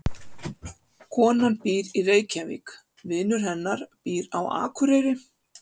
Konan býr í Reykjavík. Vinur hennar býr á Akureyri.